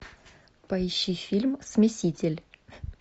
поищи фильм смеситель